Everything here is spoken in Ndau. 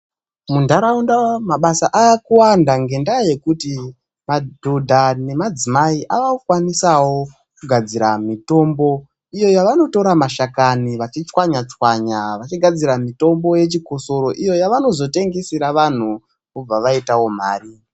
Munharaunda mabasa aakuwanda ngendaa yekuti madhodha nemadzimai ava kukwanisawo kugadzira mitombo iyo yavanotora mashakani vachitswanya tswanya vachigadzira mitombo yechikosoro iyo yavanozotengesera vanhtu vobva vaitawo mari.